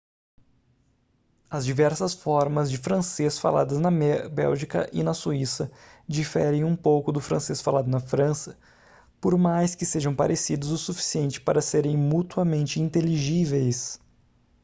as diversas formas de francês faladas na bélgica e na suíça diferem um pouco do francês falado na frança por mais que sejam parecidos o suficiente para serem mutuamente inteligíveis